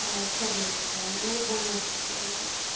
чёрные цвета у него был мягкий цветотип